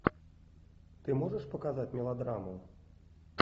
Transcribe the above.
ты можешь показать мелодраму